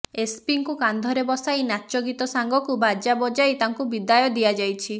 ଏସ୍ପିଙ୍କୁ କାନ୍ଧରେ ବସାଇ ନାଚ ଗୀତ ସାଙ୍ଗକୁ ବାଜା ବଜାଇ ତାଙ୍କୁ ବିଦାୟ ଦିଆଯାଇଛି